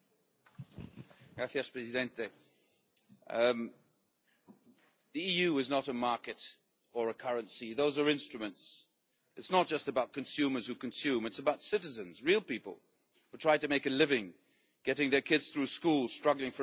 Mr President, the EU is not a market or a currency, those are instruments. It is not just about consumers who consume, it is about citizens, real people, who are trying to make a living, getting their kids through school, struggling for a better future.